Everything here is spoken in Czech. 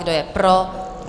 Kdo je pro?